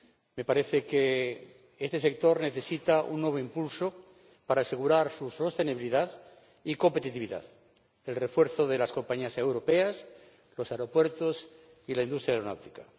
Me parece que este sector necesita un nuevo impulso para asegurar su sostenibilidad y competitividad, así como el refuerzo de las compañías europeas, los aeropuertos y la industria aeronáutica.